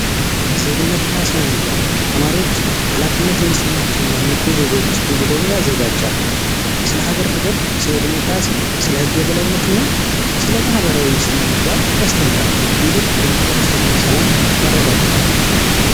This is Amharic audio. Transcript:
ዜግነትና ስነምግባር ተማሪዎች ሃላፊነት የሚሰማቸውና ንቁ ዜጋ እንዲሆኑ ያዘጋጃል ስለ ሀገር ፍቅር ስለ ዲሞክራሲ ስለ የህግ የበላይነት እና ስለማህበራዊ መስተጋብር ያስተምራል ይህም የማህበረሰቡን ሰላም ያረጋግጣል።